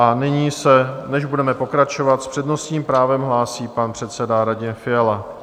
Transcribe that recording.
A nyní se, než budeme pokračovat, s přednostním právem hlásí pan předseda Radim Fiala.